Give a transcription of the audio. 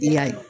I y'a ye